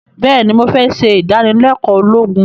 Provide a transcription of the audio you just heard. béèni mo fé se ìdánilékòó ológun